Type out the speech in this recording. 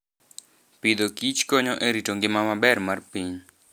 Agriculture and Foodkonyo e rito ngima maber mar piny.